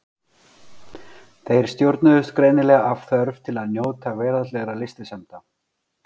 Þeir stjórnuðust greinilega af þörf til að njóta veraldlegra lystisemda.